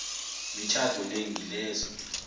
mitjhado le ngilezo